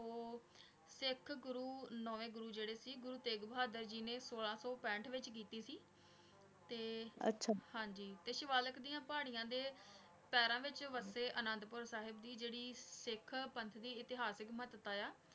ਨੋਵੇਂ ਗੁਰੂ ਜੇਰੇ ਸੀ ਗੁਰੂ ਤੇਗ ਬਹਾਦੁਰ ਜੀ ਨੇ ਸੋਲਾਂ ਸੂ ਪੰਥ ਵਿਚ ਕੀਤੀ ਸੀ ਤੇ ਆਚਾ ਹਾਂਜੀ ਤੇ ਸ਼੍ਵਾਲਾਕ ਡਿਯਨ ਪਹਰਿਯਾਂ ਦੇ ਪੀਰਾਂ ਵਿਚ ਵਾਦੇ ਅਨਾਦ ਪੂਰ ਸਾਹਿਬ ਦੀ ਜੇਰੀ ਸਿਖ ਪੰਛੀ ਅਥਿਸਕ ਮਹਤਵ ਆਯ ਆ